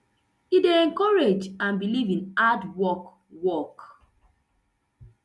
e dey encourage and believe in hard work work